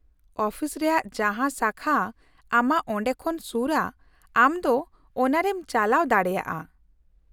-Office ᱨᱮᱭᱟᱜ ᱡᱟᱦᱟᱸ ᱥᱟᱠᱷᱟ ᱟᱢᱟᱜ ᱚᱸᱰᱮ ᱠᱷᱚᱱ ᱥᱩᱨᱼᱟ ᱟᱢ ᱫᱚ ᱚᱱᱟᱨᱮᱢ ᱪᱟᱞᱟᱣ ᱫᱟᱲᱮᱭᱟᱜᱼᱟ ᱾